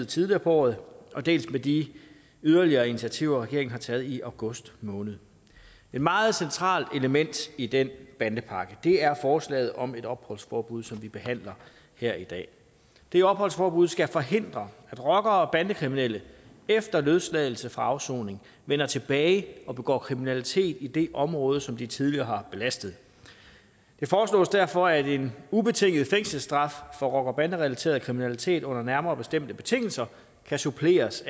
tidligere på året dels med de yderligere initiativer regeringen har taget i august måned et meget centralt element i den bandepakke er forslaget om et opholdsforbud som vi behandler her i dag det opholdsforbud skal forhindre at rockere og bandekriminelle efter løsladelse fra afsoning vender tilbage og begår kriminalitet i det område som de tidligere har belastet det foreslås derfor at en ubetinget fængselsstraf for rocker bande relateret kriminalitet under nærmere bestemte betingelser kan suppleres